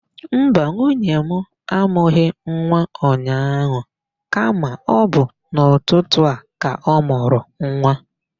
Mba, nwunye mụ amụghị nwa ụnyaahụ kama ọ bụ n'ụtụtụ a ka ọ mụrụ nwa.